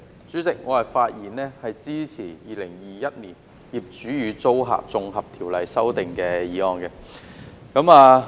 主席，我發言支持《2021年業主與租客條例草案》。